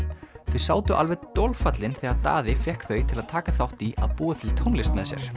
þau sátu alveg dolfallin þegar Daði fékk þau til að taka þátt í að búa til tónlist með sér